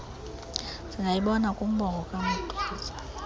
singayibona kumbongo kamtuze